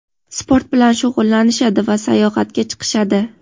sport bilan shug‘ullanishadi va sayohatga chiqishadi.